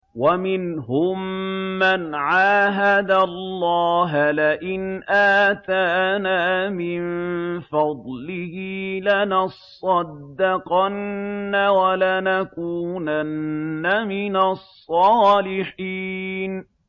۞ وَمِنْهُم مَّنْ عَاهَدَ اللَّهَ لَئِنْ آتَانَا مِن فَضْلِهِ لَنَصَّدَّقَنَّ وَلَنَكُونَنَّ مِنَ الصَّالِحِينَ